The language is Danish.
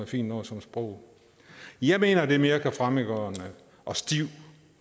fint noget som sprog jeg mener at det virker mere fremmedgørende og stift